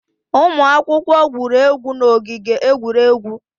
Ụmụ akwụkwọ gwuru egwu n'ogige egwuregwu.